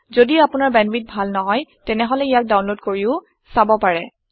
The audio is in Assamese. যদি আপোনাৰ বেন্দৱিথ ভাল নহয় তেতিয়াহলে ইয়াক ডাওনলোদ কৰিও চাব পাৰে